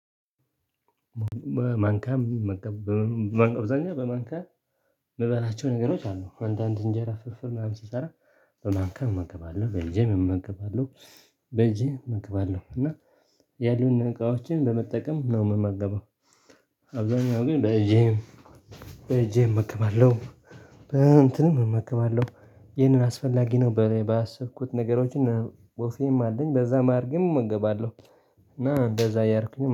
ማንካያ አብዛኛ በማንካያ እምበላቸው ነገሮች አሉ አንዳንድ እንጀራ ፍርፍር ምናምን ስሰራ በማንካም እመገባለሁ በእጄም እመገባለሁ በእጄ እመግባለሁ እና ያሉንን እቃዎችን በመጠቀም ነው የምመገበው። አብዛኛው ግን በእጄ በእጄ እመገባለሁ። በእንትንም እመገባለሁ ይህንን አስፈላጊ ነው ባሰብኩት ነገሮችን ወፌም አለኝ በዛ መሃል እመገባለሁ። እና እንደዛ እያርኩኝ